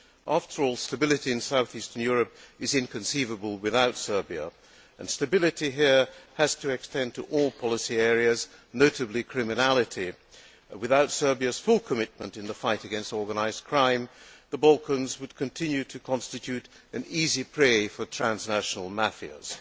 After all, stability in south eastern Europe is inconceivable without Serbia and stability here has to extend to all policy areas, notably crime. Without Serbia's full commitment in the fight against organised crime, the Balkans would continue to constitute an easy prey for transnational mafias.